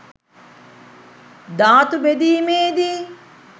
ධාතු බෙදීමේදී